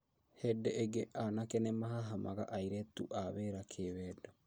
Hĩndĩ ĩngĩ anake nĩmahahamaga airĩtu a wĩra kĩwendo